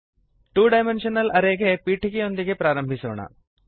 to dimensional array ಗೆ ಪೀಠಿಕೆಯೊಂದಿಗೆ ಆರಂಭಿಸೋಣ